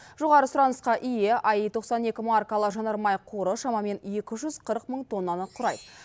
жоғары сұранысқа ие аи тоқсан екі маркалы жанармай қоры шамамен екі жүз қырық мың тоннаны құрайды